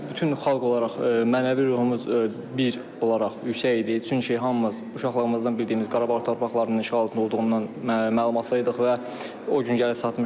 Bütün xalq olaraq mənəvi ruhumuz bir olaraq yüksək idi, çünki hamımız uşaqlığımızdan bildiyimiz Qarabağ torpaqlarının işğal altında olduğundan məlumatlıydıq və o gün gəlib çatmışdı.